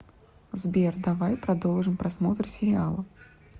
сбер давай продолжим просмотр сериала